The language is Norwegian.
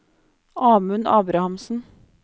Amund Abrahamsen